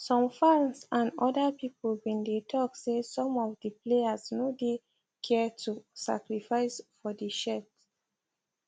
some fans and oda pipo bin dey tok say some of di players no dey care to sacrifice for di shirt